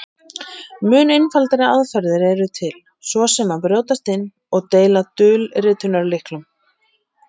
Mun einfaldari aðferðir eru til, svo sem að brjótast inn og stela dulritunarlyklum.